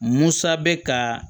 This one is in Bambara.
Musa bɛ ka